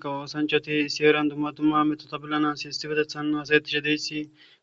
Kawo oosanchati issi heeran heeran dumma dumma miishata haasa7etishe dizaysi